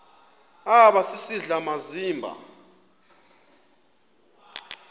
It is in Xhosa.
aba sisidl amazimba